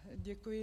Děkuji.